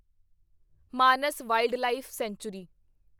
Manas wildlife sanctuary